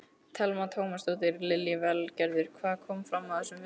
Telma Tómasson: Lillý Valgerður, hvað kom fram á þessum fundi?